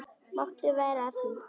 Máttu vera að því?